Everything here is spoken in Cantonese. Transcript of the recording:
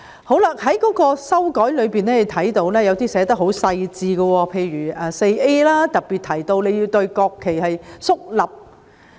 我們在修訂中看到，有些條文寫得很細緻，例如第 4A 條，特別提到在面向國旗時要肅立。